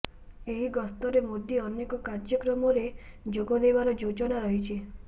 ଏହି ଗସ୍ତରେ ମୋଦି ଅନେକ କାର୍ଯ୍ୟକ୍ରମରେ ଯୋଗଦେବାର ଯୋଜନା ରହିଛି